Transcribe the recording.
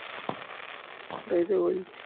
সেটাই তো বলছি